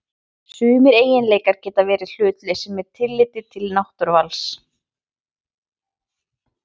Sumir eiginleikar geta verið hlutlausir með tilliti til náttúruvals.